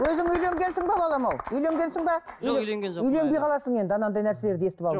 өзің үйленгенсің бе балам ау үйленгенсің бе жоқ үйленген жоқпын үленбей қаласың енді анандай нәрселерді естіп алып